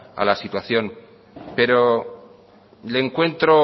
la situación pero le encuentro